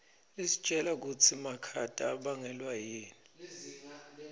isitjela kutsi makhata abangelwa yini